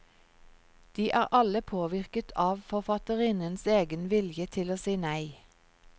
De er alle påvirket av forfatterinnens egen vilje til å si nei.